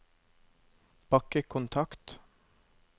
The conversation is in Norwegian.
bakkekontakt